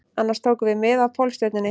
Annars tókum við mið af Pólstjörnunni